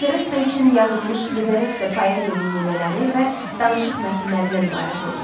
Operetta üçün yazılmış libretto poeziya nümunələri və danışıq mətnlərindən ibarət olur.